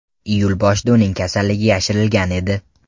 Iyul boshida uning kasalligi yashirilgan edi.